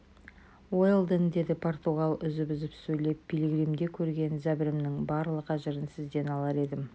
уэлдон деді португал үзіп-үзіп сөйлеп пилигримде көрген зәбірімнің барлық әжірін сізден алар едім